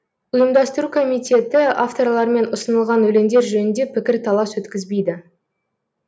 ұйымдастыру комитеті авторлармен ұсынылған өлеңдер жөнінде пікір талас өткізбейді